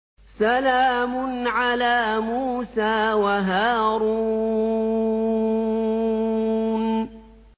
سَلَامٌ عَلَىٰ مُوسَىٰ وَهَارُونَ